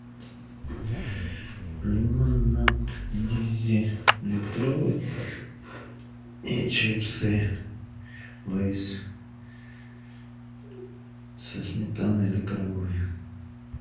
лимонад диззи литровый и чипсы лейс со сметаной или крабовый